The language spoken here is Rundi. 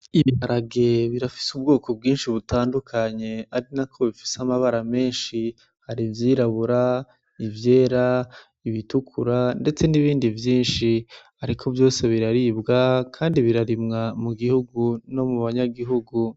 Ibiharage birafise ubwoko bwinshi butandukanye arinako bifise amabara menshi, hari ivyirabura, ivyera, ibitukura ndetse nibindi vyinshi ariko vyose biraribwa kandi birarimwa mu gihugu no mu banyagihugu